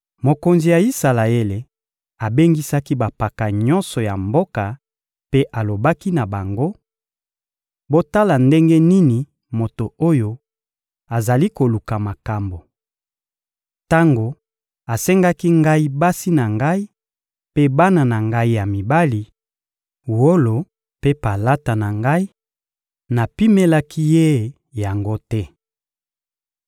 Mokonzi ya Isalaele abengisaki bampaka nyonso ya mboka mpe alobaki na bango: — Botala ndenge nini moto oyo azali koluka makambo! Tango asengaki ngai basi na ngai mpe bana na ngai ya mibali, wolo mpe palata na ngai, napimelaki ye yango te.